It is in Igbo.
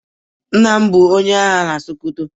Nna m bu onye agha na Sokoto.